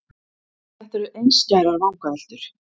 En þetta eru einskærar vangaveltur.